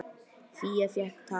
Fía fékk tak.